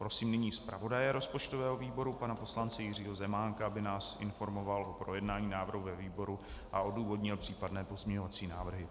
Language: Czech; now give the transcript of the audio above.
Prosím nyní zpravodaje rozpočtového výboru pana poslance Jiřího Zemánka, aby nás informoval o projednání návrhu ve výboru a odůvodnil případné pozměňovací návrhy.